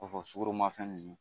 O kɔfɛ sukoromafɛn ninnu